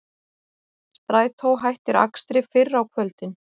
Strætó hættir akstri fyrr á kvöldin